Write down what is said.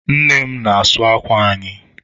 Nne m n'asu ákwà anyị.